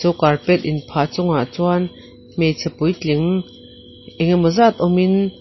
carpet inphah chungah chuan hmeichhe puitling engemaw zat awmin.